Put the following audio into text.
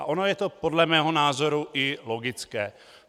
A ono je to podle mého názoru i logické.